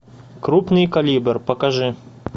крупный калибр покажи